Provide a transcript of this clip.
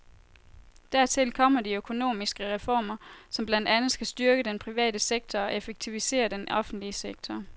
Dertil kommer de økonomiske reformer, som blandt andet skal styrke den private sektor og effektivisere den offentlige sektor.